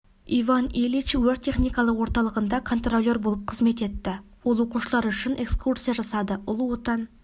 иван ильич өрт-техникалық орталығында контролер болып қызмет етті ол оқушылар үшін экскурсия жасады ұлы отан